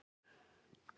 Svo var ekki alltaf.